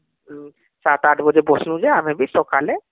....ସାତ ଆଠ ବଜେ ବସିଲୁ ଯେ ଆମେ ବି ସକାଳେ